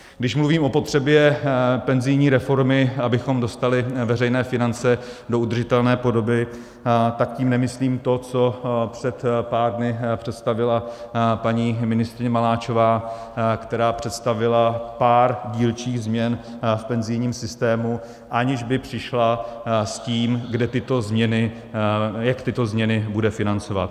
Když mluvím o potřebě penzijní reformy, abychom dostali veřejné finance do udržitelné podoby, tak tím nemyslím to, co před pár dny představila paní ministryně Maláčová, která představila pár dílčích změn v penzijním systému, aniž by přišla s tím, jak tyto změny bude financovat.